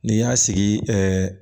N'i y'a sigi